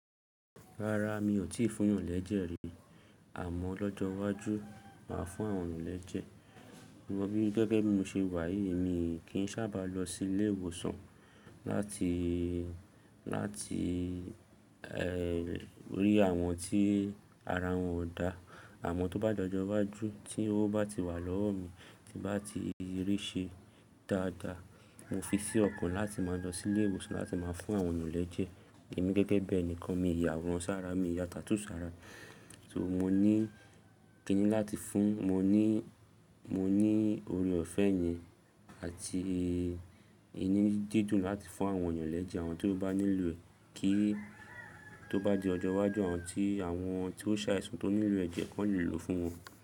Rárá, mi ò tíì fún yàn lẹ́jẹ̀ rí àmọ́ lọ́jọ́ iwájú máa fún àwọn eeyan lẹ́jẹ̀. To rí gẹ́gẹ́ bí mo ṣe wà yìí, èmi kì í sábà lọ sí ilé ìwòsàn láti, láti, ẹ́ rí àwọn tí ara wọn ò da. Àmọ́ tó bá dọjọ iwájú tí owó bá ti wà lọ́wọ́ mi tí bá ti rí ṣe dáadáa, mo fi sí ọkàn láti máa lọ sí ilé ìwòsàn láti máa fún àwọn eniyan lẹ́jẹ̀. Èmi gẹ́gẹ́ bi ẹ̀nìkan, mi ò yà aworan sára, mi ò yà tattoo sára. So mo ní, kí ni láti fún? Mo ní, mo ní oore ọ̀fẹ́ yẹn àti inu dídùn láti fún àwọn eeyan lẹ́jẹ̀. Àwọn tó bá nílò kí tó bá di ọjọ́ iwájú àwọn tí, àwọn tí ó ṣàìsàn tí ó nílò ẹ̀jẹ̀ kan le lò fún wọn.